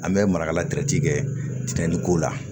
An bɛ marakala kɛ tigɛnniko la